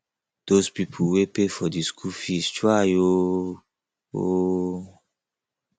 those people wey pay for the school fees try o o